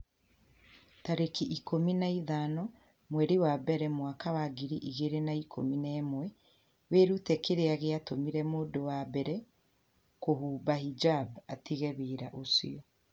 tarĩki ikũmi na ithano mweri wa mbere mwaka wa ngiri igĩrĩ na ikũmi na ĩmweWĩrute kĩrĩa gĩatũmire mũndũ wa mbere kũhumba hijab 'atige wĩra ũcio.